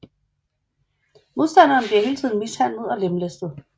Modstanderne bliver hele tiden mishandlet og lemlæstet